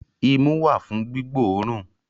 Imú wà fún gbígbóòrùn